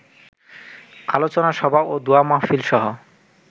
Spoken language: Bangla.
আলোচনা সভা ও দোয়া মাহফিলসহ